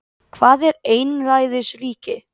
Hvað er einræðisríki?